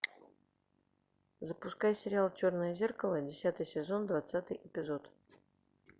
запускай сериал черное зеркало десятый сезон двадцатый эпизод